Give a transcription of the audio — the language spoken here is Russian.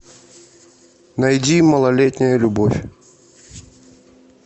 найди малолетняя любовь